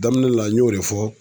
Daminɛ la n y'o de fɔ